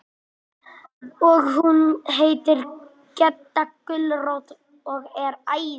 Og hún heitir Gedda gulrót og er æði.